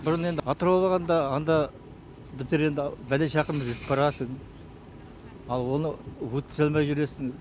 бұрын енді атырауға барғанда анда біздер енді пәлен шақырым жүріп барасың ал оны өткізе алмай жүресің